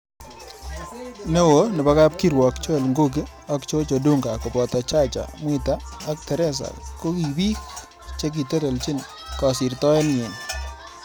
Neo nebo kab kirwok Joel Ngugi ak Gorge Odunga koboto Chacha mwita ak Teresa ko kibiik chekitelejin kasirtoet nyi.